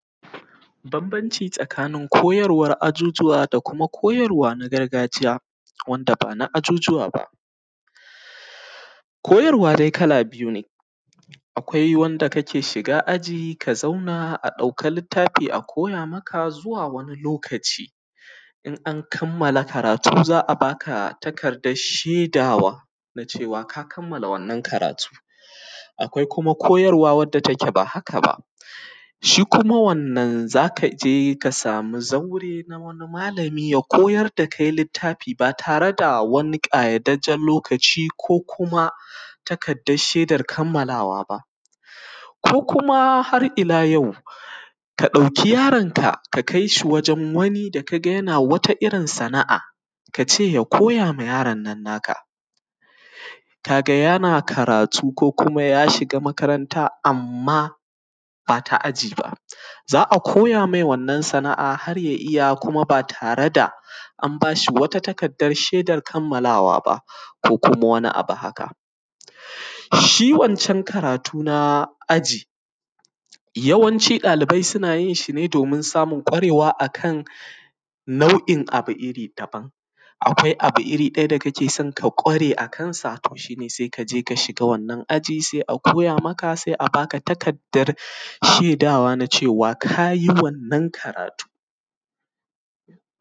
babbanci tsakanin koyarwar aǳuǳuwa da kuma koharwa na gargaǳiya wanda ba na aǳuǳuwa ba koyarwa dai kala biyu ne akwai wanda kake shiga aǳi ka zauna a dauki littafi a koya maka zuwa wani lokaci in an kammala karatu zaa baka takaddar shedawa nacewa ka kammala wannan karatu akwai kuma koyarwa wanda take ba haka ba shi kuma wannan zaka ǳe ka samu zaure na wani malami ja koyar da kai wani littafi ba tare da wani kayataccan lokaci koh kuma takaddar shedar kammalawa ba koh kuma har ila yau ka dauki yaronka ka kaishi wajen wani da ka gani yana wata irin sana’a kace ya koya ma yaronan naka kaga yana karatu koh kuma ya shiga makaranta amma bata aǳi ba zaa koya mai wannan sana'a har ya iya kuma ba tare da an bashi wata shedan kammalawa ba koh kuma wani abu haka shi waccan karatu na aǳi yawanci ɗalibai suna yi yi ne domin samun ƙwarewa akan abu nau'i daban-daban a kwai abu iri daya da kake so ka kware akan sa to shine sai kaǳe ka shiga wannan aǳi sai a koya maka sannan sai a baka takaddan dan shedawa na cewa kayi wannan karatu